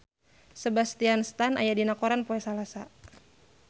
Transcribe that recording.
Sebastian Stan aya dina koran poe Salasa